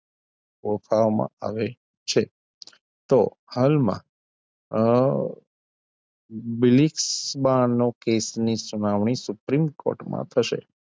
ઓફામ આવે છે તો હાલમાં અ બિલિક્ષ બાણનો કેસની સુનાવણી suprim court માં થશે.